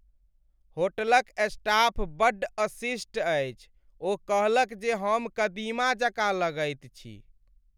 होटलक स्टाफ बड्ड अशिष्ट अछि। ओ कहलक जे हम कदीमा जकाँ लगैत छी।